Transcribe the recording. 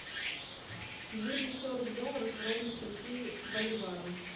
двести сорок долларов ровно скольки боливарам